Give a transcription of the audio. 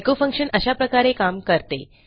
echo function अशा प्रकारे काम करते